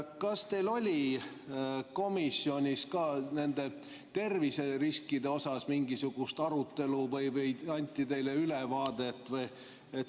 Kas teil oli komisjonis ka nende terviseriskide kohapealt mingisugust arutelu või anti teile sellest ülevaade?